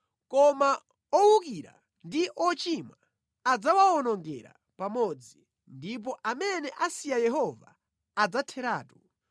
Koma owukira ndi ochimwa adzawawonongera pamodzi, ndipo amene asiya Yehova adzatheratu.